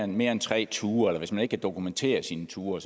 mere end tre ture eller hvis ikke man kan dokumentere sine ture